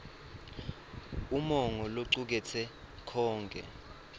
umongo locuketse konkhe